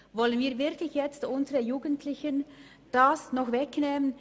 Wollen wir das unseren Jugendlichen nun tatsächlich wegnehmen?